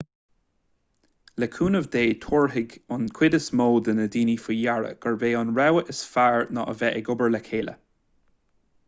le cúnamh dé tabharfaidh an chuid is mó de dhaoine faoi deara gurb é an rogha is fearr ná a bheith ag obair le chéile